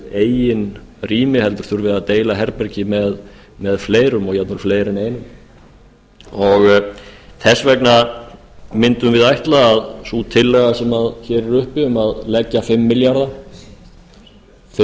eigin rými heldur þurfi að deila herbergi með fleirum og jafnvel fleirum en einum þess vegna myndum við ætla að sú tillaga sem hér er uppi um að leggja fimm